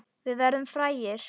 Við verðum frægir.